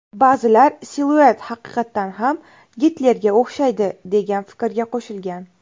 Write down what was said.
Ba’zilar siluet haqiqatan ham Gitlerga o‘xshaydi, degan fikrga qo‘shilgan.